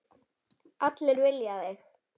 Allir vilja þig.